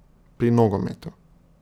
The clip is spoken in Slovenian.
Pri nogometu.